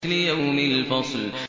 لِيَوْمِ الْفَصْلِ